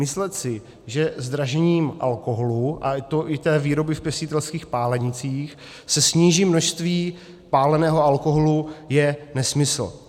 Myslet si, že zdražením alkoholu, a to i té výroby v pěstitelských pálenicích, se sníží množství páleného alkoholu, je nesmysl.